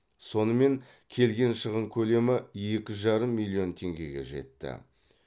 сонымен келген шығын көлемі екі жарым миллион теңгеге жетті